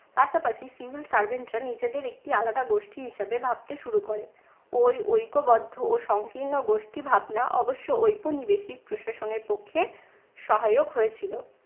পাশাপাশি civil servant রা নিজেদের একটি আলাদা গোষ্ঠী হিসেবে ভাবতে শুরু করে। ঐ ঐক্যবদ্ধ ও সংকীর্ণ গোষ্ঠী ভাবনা অবশ্য ঔপনিবেশিক প্রশাসনের পক্ষে সহায়ক হয়েছিল।